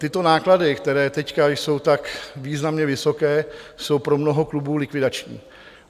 Tyto náklady, které teď jsou tak významně vysoké, jsou pro mnoho klubů likvidační.